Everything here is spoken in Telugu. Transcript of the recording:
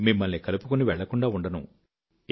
మిమ్మల్ని కలుపుకొని వెళ్ళకుండా ఉండను